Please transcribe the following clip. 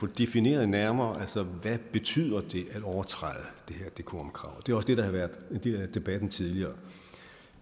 defineret nærmere hvad det betyder at overtræde det her decorumkrav det er også det der har været en del af debatten tidligere